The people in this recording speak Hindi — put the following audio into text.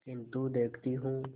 किन्तु देखती हूँ